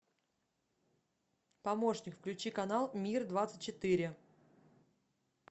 помощник включи канал мир двадцать четыре